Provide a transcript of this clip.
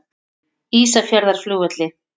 Ísafjarðarflugvelli